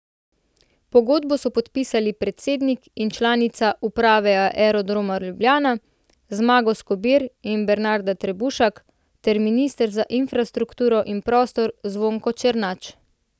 Pogodbo so podpisali predsednik in članica uprave Aerodroma Ljubljana, Zmago Skobir in Bernarda Trebušak, ter minister za infrastrukturo in prostor Zvonko Černač.